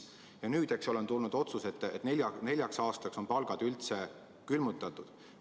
Ja nüüd on tulnud otsus, et neljaks aastaks on palgad üldse külmutatud.